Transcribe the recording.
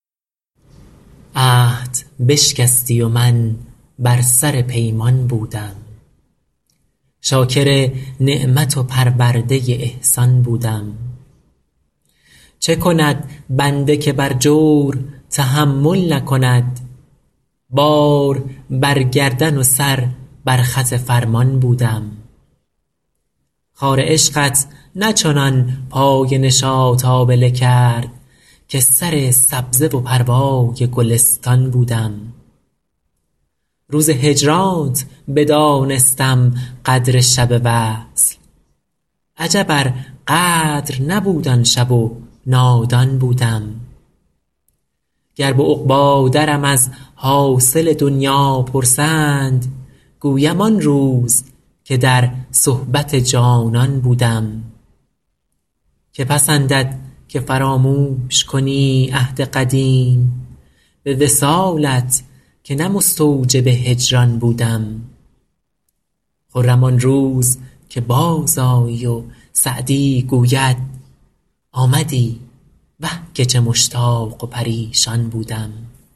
عهد بشکستی و من بر سر پیمان بودم شاکر نعمت و پرورده احسان بودم چه کند بنده که بر جور تحمل نکند بار بر گردن و سر بر خط فرمان بودم خار عشقت نه چنان پای نشاط آبله کرد که سر سبزه و پروای گلستان بودم روز هجرانت بدانستم قدر شب وصل عجب ار قدر نبود آن شب و نادان بودم گر به عقبی درم از حاصل دنیا پرسند گویم آن روز که در صحبت جانان بودم که پسندد که فراموش کنی عهد قدیم به وصالت که نه مستوجب هجران بودم خرم آن روز که بازآیی و سعدی گوید آمدی وه که چه مشتاق و پریشان بودم